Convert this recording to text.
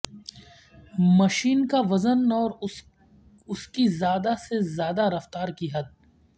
machine کا وزن اور اس کی زیادہ سے زیادہ رفتار کی حد